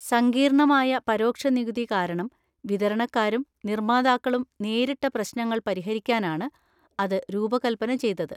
സങ്കീർണമായ പരോക്ഷ നികുതി കാരണം വിതരണക്കാരും നിർമാതാക്കളും നേരിട്ട പ്രശ്നങ്ങൾ പരിഹരിക്കാനാണ് അത് രൂപകൽപന ചെയ്തത്.